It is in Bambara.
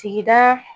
Sigida